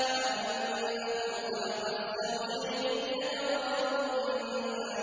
وَأَنَّهُ خَلَقَ الزَّوْجَيْنِ الذَّكَرَ وَالْأُنثَىٰ